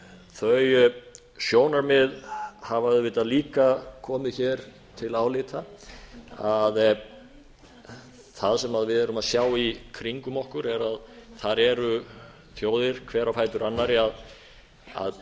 þau sjónarmið hafa auðvitað líka komið hér til álita að það sem við erum að sjá í kringum okkur þar eru þjóðir hver á fætur annarri að